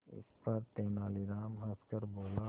इस पर तेनालीराम हंसकर बोला